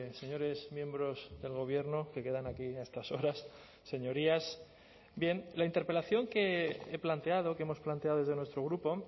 señores miembros del gobierno que quedan aquí a estas horas señorías bien la interpelación que he planteado que hemos planteado desde nuestro grupo